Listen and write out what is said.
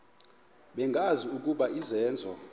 bengazi ukuba izenzo